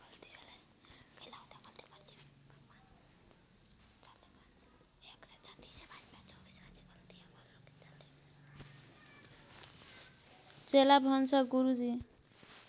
चेला भन्छ गुरुजी